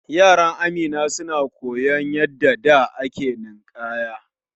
Yaran Amina suna koyon yanda da ake ninkanya.